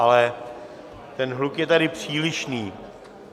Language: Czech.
Ale ten hluk je tady přílišný.